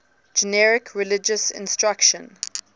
generic religious instruction